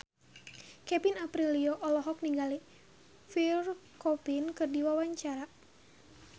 Kevin Aprilio olohok ningali Pierre Coffin keur diwawancara